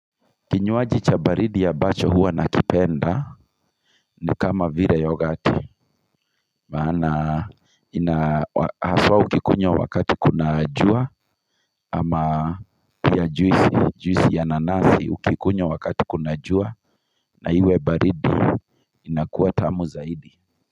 Kinywaji cha baridi ambacho huwa na kipenda ni kama vire yogati maana ina haswa ukikunywa wakati kuna jua ama juisi ya nanasi ukikunywa wakati kuna jua na iwe baridi inakuwaa tamu zaidi.